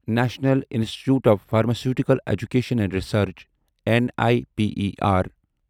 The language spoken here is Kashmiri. national institute of pharmaceutical education and research N I P E R